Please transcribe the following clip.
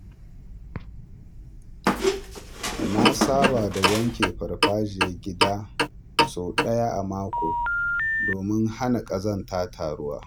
Na saba da wanke farfajiyar gida sau ɗaya a mako domin hana ƙazanta taruwa.